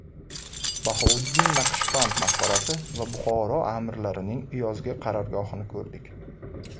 Bahouddin Naqshband maqbarasi va Buxoro amirlarining yozgi qarorgohini ko‘rdik.